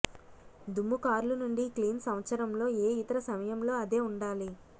దుమ్ము కార్లు నుండి క్లీన్ సంవత్సరంలో ఏ ఇతర సమయంలో అదే ఉండాలి